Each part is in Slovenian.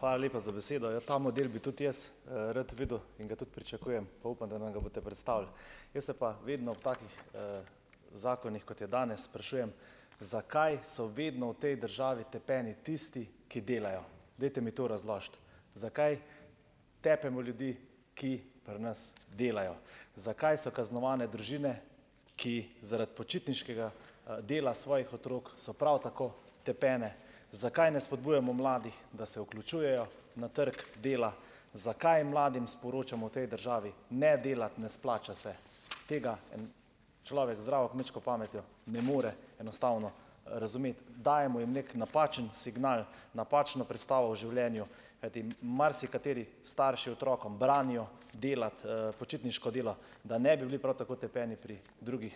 Hvala lepa za besedo. Ja, ta model bi tudi jaz, rad videl in ga tudi pričakujem, pa upam, da nam ga boste predstavili. Jaz se pa vedno ob takih, zakonih, kot je danes, sprašujem, zakaj so vedno v tej državi tepeni tisti, ki delajo. Dajte mi to razložiti. Zakaj tepemo ljudi, ki pri nas delajo. Zakaj so kaznovane družine, ki zaradi počitniškega, dela svojih otrok so prav tako tepene? Zakaj ne spodbujamo mladih, da se vključujejo na trg dela? Zakaj mladim sporočamo v tej državi, ne delati, ne splača se? Tega en človek z zdravo kmečko pametjo ne more enostavno razumeti. Dajemo jim neki napačen signal, napačno predstavo o življenju, kajti marsikateri starši otrokom branijo delati, počitniško delo, da ne bi bili prav tako tepeni pri drugih,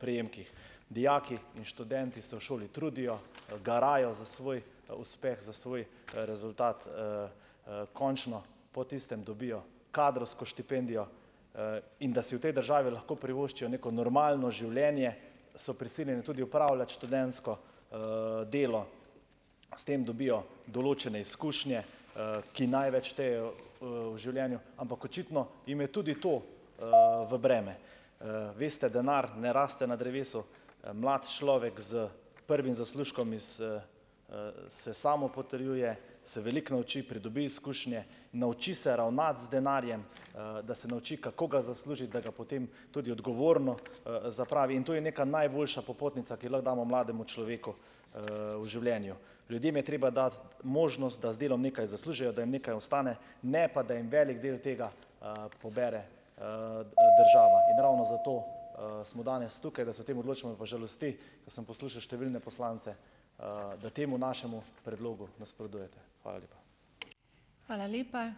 prejemkih. Dijaki in študenti se v šoli trudijo, garajo za svoj uspeh, za svoj rezultat, končno po tistem dobijo kadrovsko štipendijo, in da si v tej državi lahko privoščijo neko normalno življenje, so prisiljeni tudi upravljati študentsko, delo, s tem dobijo določene izkušnje, ki največ štejejo, v življenju, ampak očitno jim je tudi to, v breme. Veste, denar ne raste na drevesu, mlad človek s prvim zaslužkom iz, se samo potrjuje, se veliko nauči, pridobi izkušnje, nauči se ravnati z denarjem, da se nauči, kako ga zaslužiti, da ga potem tudi odgovorno, zapravi in to je neka najboljša popotnica, ki jo lahko damo mlademu človeku, v življenju. Ljudem je treba dati možnost, da z delom nekaj zaslužijo, da jim nekaj ostane, ne pa da en velik del tega, pobere, država in ravno zato, smo danes tukaj, da se o tem odločimo. Me pa žalosti, ko sem poslušal številne poslance, da temu našemu predlogu nasprotujete. Hvala lepa.